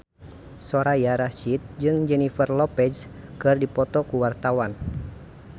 Soraya Rasyid jeung Jennifer Lopez keur dipoto ku wartawan